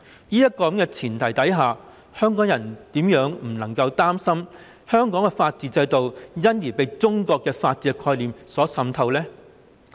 在這樣的前提下，香港人怎會不擔心香港的法律制度會因而被中國的法律概念所滲透呢？